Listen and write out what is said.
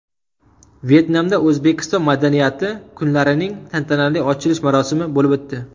Vyetnamda O‘zbekiston madaniyati kunlarining tantanali ochilish marosimi bo‘lib o‘tdi .